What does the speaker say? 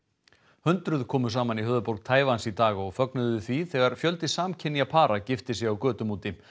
hundruð komu saman í höfuðborg Taívan í dag og fögnuðu því þegar fjöldi samkynja para gifti sig á götum úti